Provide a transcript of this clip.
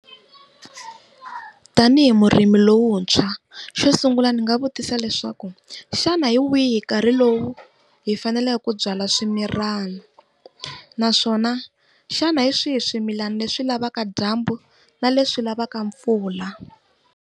Tanihi murimi lowuntshwa xo sungula ndzi nga vutisa leswaku, xana hi wihi nkarhi lowu hi faneleke ku byala swimilana naswona xana hi swihi swimilana leswi lavaka dyambu na leswi lavaka mpfula.